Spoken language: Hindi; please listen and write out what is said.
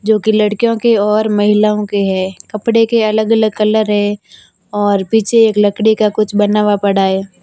जो की लड़कियों के और महिलाओं के है कपडे के अलग अलग कलर है और पीछे एक लकड़ी का कुछ बना हुआ पड़ा है।